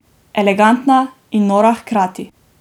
Elegantna in nora hkrati!